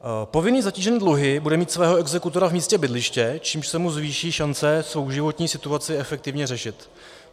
Povinný zatížený dluhy bude mít svého exekutora v místě bydliště, čímž se mu zvýší šance svou životní situaci efektivně řešit.